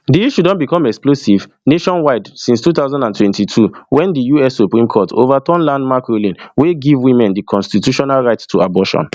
di issue don become explosive nationwide since two thousand and twenty-two wen di us supreme court ovaturn landmark ruling wey give women di constitutional right to abortion